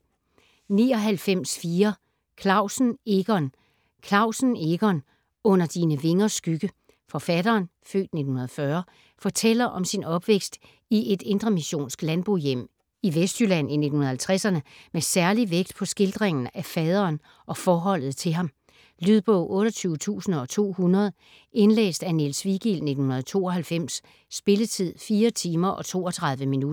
99.4 Clausen, Egon Clausen, Egon: Under dine vingers skygge Forfatteren (f. 1940) fortæller om sin opvækst i et indremissionsk landbohjem i Vestjylland i 1950'erne, med særlig vægt på skildringen af faderen og forholdet til ham. Lydbog 28200 Indlæst af Niels Vigild, 1992. Spilletid: 4 timer, 32 minutter.